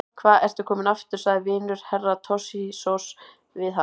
Hva ertu kominn aftur, sagði vinur Herra Toshizoz við hann.